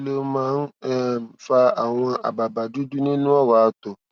kí ló máa ń um fa àwọn àbàbà dudu nínú ọrọ ato